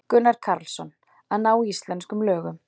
Gunnar Karlsson: Að ná íslenskum lögum.